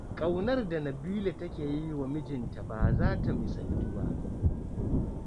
Ƙaunar da Nabila take yi wa mijinta ba za ta misaltu ba.